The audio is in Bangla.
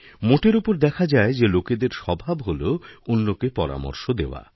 মোটের ওপর দেখা যায়যে লোকেদের স্বভাব হল অন্যকে পরামর্শ দেওয়া